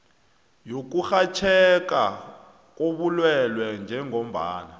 yokurhatjheka kobulwelwe njengombana